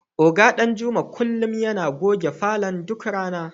Oga Danjuma kullum yana goge falon duk rana.